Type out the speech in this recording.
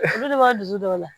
Olu de b'a dusu dɔw la